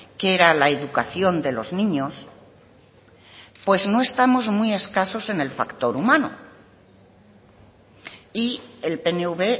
que era la educación de los niños pues no estamos muy escasos en el factor humano y el pnv